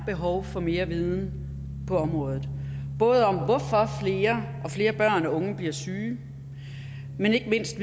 behov for mere viden på området både om hvorfor flere og flere børn og unge bliver syge men ikke mindst